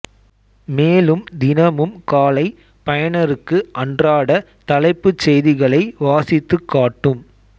மேலும் தினமும் காலை பயணருக்கு அன்றாட தலைப்புச் செய்திகளை வாசித்துக் காட்டும்